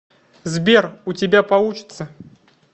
сбер у тебя получится